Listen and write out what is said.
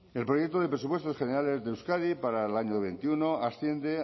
el proyecto de presupuesto generales de euskadi para el año veintiuno asciende